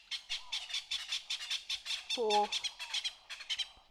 плов